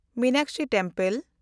Meenakshi temple